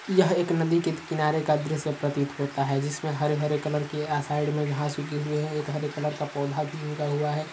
यह एक नदी के की किनारे का द्रश्य प्रतीत होता है। जिसमे हरे-हरे कलर के अ साइड में घास उगी हई है। एक हरे कलर का पौधा भी उगा हुआ है।